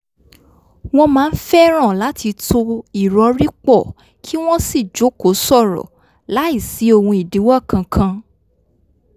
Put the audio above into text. wọ́n máa ń fẹ́ràn láti to ìrọ̀rí pọ̀ kí wọ́n sì jókòó sọ̀rọ̀ láìsí ohun ìdíwọ́ kan kan